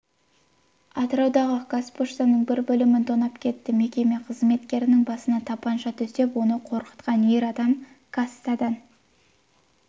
атыраудағы қазпоштаның бір бөлімін тонап кетті мекеме қызметкерінің басына тапанша төсеп оны қорқытқан ер адам кассадан